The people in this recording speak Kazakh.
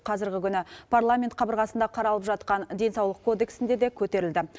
қазіргі күні парламент қабырғасында қаралып жатқан денсаулық кодексінде де көтерілді